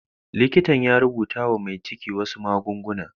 Likitan ya rubuta wa mai ciki wasu magunguna.